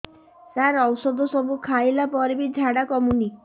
ସାର ଔଷଧ ସବୁ ଖାଇଲା ପରେ ବି ଝାଡା କମୁନି